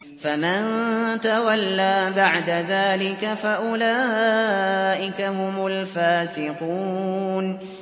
فَمَن تَوَلَّىٰ بَعْدَ ذَٰلِكَ فَأُولَٰئِكَ هُمُ الْفَاسِقُونَ